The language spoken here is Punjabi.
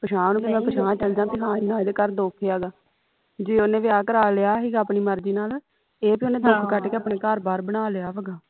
ਪਿਛਾਂਹ ਨੂੰ ਮੈਂ ਪਿਛਾਂਹ ਚਲ ਜਾ ਬਈ ਹਾਂ ਇਨ੍ਹਾਂ ਇਦੇ ਘਰ ਦੁੱਖ ਹੈਗਾ ਜੇ ਉਹਨੇ ਵਿਆਹ ਕਰਾ ਲਿਆ ਹੀਗਾ ਆਪਣੀ ਮਰਜੀ ਨਾਲ ਇਹ ਬਈ ਉਹਨੇ ਦੁੱਖ ਕੱਟ ਕੇ ਆਪਣੇ ਘਰ ਬਾਰ ਬਣਾ ਲਿਆ ਵਾ